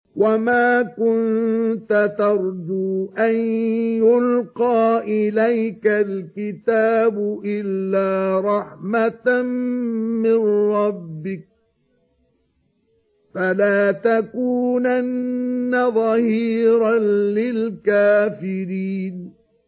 وَمَا كُنتَ تَرْجُو أَن يُلْقَىٰ إِلَيْكَ الْكِتَابُ إِلَّا رَحْمَةً مِّن رَّبِّكَ ۖ فَلَا تَكُونَنَّ ظَهِيرًا لِّلْكَافِرِينَ